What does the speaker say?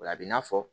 O la a bɛ na fɔ